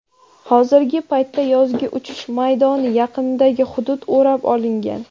Hozirgi paytda yozgi uchish maydoni yaqinidagi hudud o‘rab olingan.